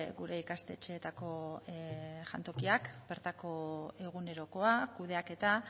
gure ikastetxeetako jantokiak bertako egunerokoa kudeaketa